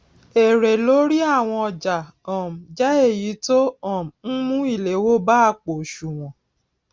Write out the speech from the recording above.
èrè lórí àwọn ọjà um jé èyí tó um n mú ìléwó bá àpò òṣùwòn